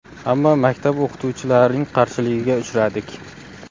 Ammo maktab o‘qituvchilarining qarshiligiga uchradik.